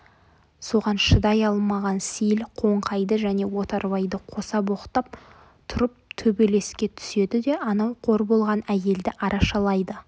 соған шыдай алмаған сейіл қоңқайды және отарбайды қоса боқтап тұрып төбелеске түседі де анау қор болған әйелді арашалайды